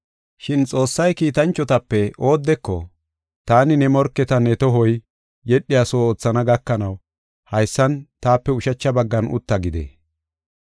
Shin Xoossay kiitanchotape oodeko, “Taani ne morketa ne tohoy yedhiyaso oothana gakanaw, haysan taape ushacha baggan utta” gidee?